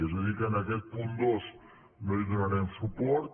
és a dir que a aquest punt dos no hi donarem suport